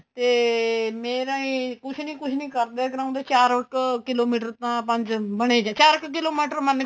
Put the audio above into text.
ਤੇ ਮੇਰਾ ਏ ਕੁੱਝ ਨੀ ਕੁੱਝ ਨੀ ਕਰਦੇ ਕਰਾਉਂਦੇ ਚਾਰ ਕ kilometer ਤਾਂ ਪੰਜ ਬਣੇ ਚਾਰ kilometer ਮੰਨ ਕੇ